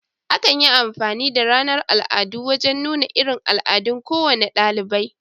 Akan yi amfani da ranar al'adu wajen nuna irin al'adun kowane dalibai